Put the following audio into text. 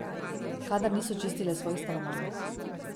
Kadar niso čistile svojih stanovanj.